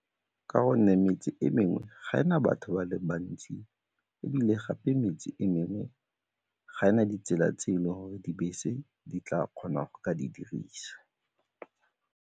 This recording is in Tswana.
Ka gonne metse e mengwe ga e na batho ba le bantsi ebile gape metse e mengwe ga e na ditsela tse e le gore dibese di tla kgona go ka di dirisa.